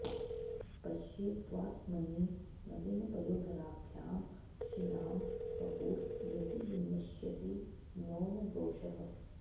पश्ये तवात्मनि नवीनपयोधराभ्यां क्षीणां वपुर् यदि विनश्यति नो न दोषः